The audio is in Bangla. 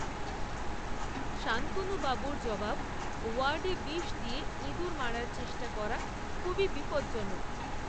শান্তনুবাবুর জবাব, ওয়ার্ডে বিষ দিয়ে ইঁদুর মারার চেষ্টা করা, খুবই বিপজ্জনক